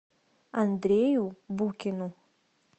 андрею букину